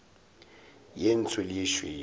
ye ntsho le ye tšhweu